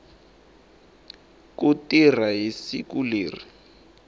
ku tirha hi siku leri